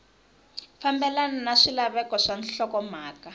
fambelena na swilaveko swa nhlokomhaka